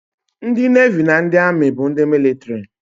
Ndị Nevi na ndị Amị bụ ndị mịlịtrị